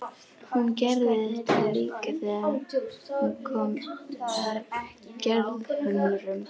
Hún gerði þetta líka þegar hún kom að Gerðhömrum.